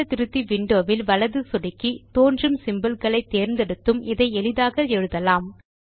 சூத்திர திருத்தி விண்டோ வில் வலது சொடுக்கி தோன்றும் சிம்போல் களை தேர்ந்தெடுத்தும் இதை எளிதாக எழுதலாம்